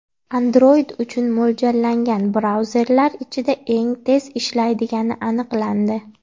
Android uchun mo‘ljallangan brauzerlar ichida eng tez ishlaydigani aniqlandi.